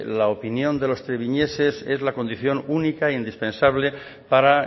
la opinión de los treviñeses es la condición única e indispensable para